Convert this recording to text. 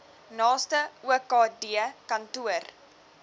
naaste okd kantoor